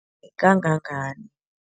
Kangangani?